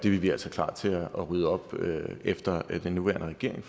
er vi altså klar til at rydde op efter den nuværende regering